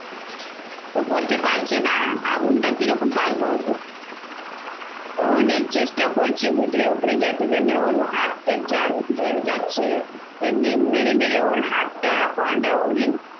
ও করতে পারছে না আগুনটা কিরকম পার করবো? ও অনেক চেষ্টা করছে ভিতরে ওপরে গেছে জন্যে ওর হাতটা জ্বলে যাচ্ছে। এমনি মেরে মেরে ওর হাতটা বাঁধটা অনেক